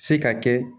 Se ka kɛ